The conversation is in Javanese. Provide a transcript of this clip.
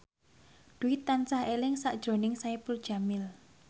Dwi tansah eling sakjroning Saipul Jamil